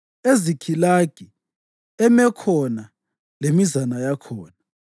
eZikhilagi, eMekhona lemizana yakhona,